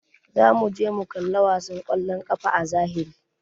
Zamu je mu kalla wasan kwallon kafa a zahiri.